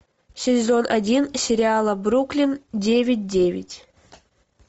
сезон один сериала бруклин девять девять